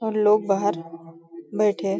और लोग बाहर बैठे।